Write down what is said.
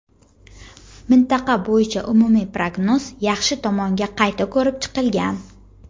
mintaqa bo‘yicha umumiy prognoz yaxshi tomonga qayta ko‘rib chiqilgan.